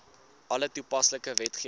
alle toepaslike wetgewing